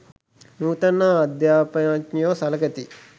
නූතන අධ්‍යාපඥයෝ සළකති.